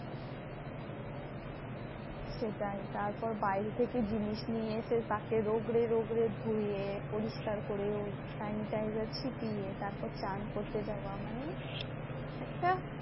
সেটাই, তারপর বাইরে থেকে জিনিস নিয়ে এসে তাকে রগড়ে রগড়ে ধুয়ে পরিষ্কার করেও sanitizer ছিটিয়ে, তারপর চান করতে যাওয়া মানে একটা